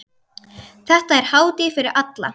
Þetta er hátíð fyrir alla.